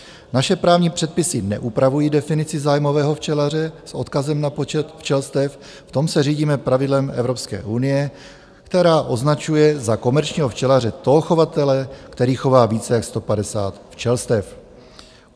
Naše právní předpisy neupravují definici zájmového včelaře s odkazem na počet včelstev, v tom se řídíme pravidlem Evropské unie, která označuje za komerčního včelaře toho chovatele, kterých chová více jak 150 včelstev.